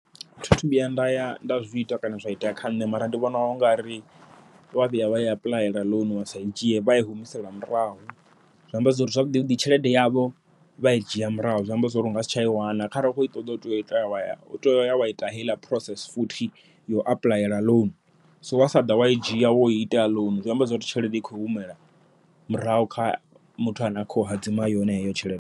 Thi thu vhuya nda ya nda zwi ita kana zwa itea kha nṋe, mara ndi vhona u nga ri wa vhuya wai apuḽayela ḽounu wa sa i dzhie vha i humisele murahu. Zwi amba zwori zwavhuḓi vhuḓi tshelede yavho vha i dzhia murahu, zwi amba zwori unga si tsha i wana kharali u khoi ṱoḓa u tea u ita wa ya wa ita heiḽa process futhi yo apuḽayela ḽounu. So wa sa ḓa wa i dzhia woi ita ḽounu zwi amba zwori tshelede i khou humela murahu kha muthu ane a khou hadzima yone heyo tshelede.